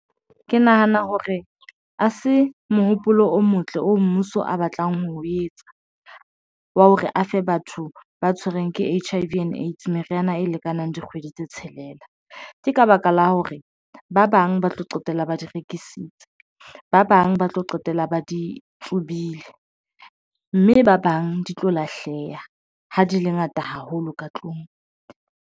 Ke nahana hore ha se mohopolo o motle o mmuso a batlang ho etsa wa hore a fe batho ba tshwerweng ke H_I_V and AIDS meriana e lekanang dikgwedi tse tshelela ke ka ka baka la hore tlung ba bang ba tlo qetella ba di rekisitse, ba bang ba tlo qetella ba di tsubile mme ba bang di tlo lahleha ha di le ngata haholo ka tlung.